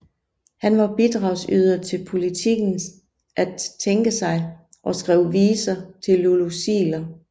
Han var bidragsyder til Politikens At tænke sig og skrev viser til Lulu Ziegler